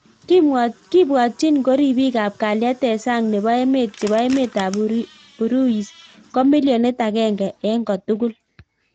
Kibwatyin ko ripik ap kalyet eng sang nepoo emet chepo emeet ap Uruis ko milionit agenge eng kotugul